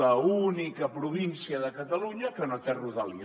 l’única província de catalunya que no té rodalies